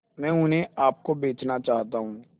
मैं उन्हें आप को बेचना चाहता हूं